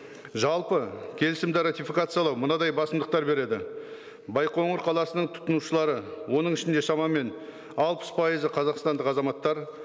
жалпы келісімді ратификациялау мынадай басымдықтар береді байқоңыр қаласының тұтынушылары оның ішінде шамамен алпыс пайызы қазақстандық азаматтар